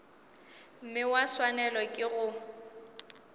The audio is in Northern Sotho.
mme ba swanelwa ke go